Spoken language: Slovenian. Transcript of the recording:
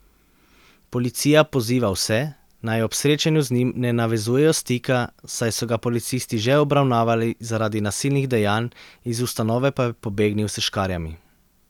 Policija poziva vse, naj ob srečanju z njim ne navezujejo stika, saj so ga policisti že obravnavali zaradi nasilnih dejanj, iz ustanove pa je pobegnil s škarjami.